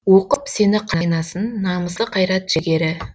оқып сені қайнасын намысы қайрат жігері